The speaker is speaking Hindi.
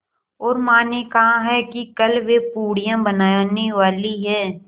और माँ ने कहा है कि कल वे पूड़ियाँ बनाने वाली हैं